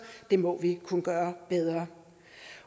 det må vi kunne gøre bedre